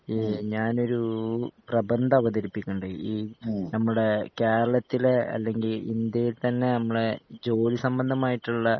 ഞാനൊരു പ്രബന്ധം അവതരിപ്പിക്കണുണ്ട് ഈ നമ്മുടേ കേരളത്തിലേ അല്ലെങ്കി ഇന്ത്യയിൽ തന്നെ ഞമ്മളേ ജോലിസംബന്ധമായിട്ടുള്ള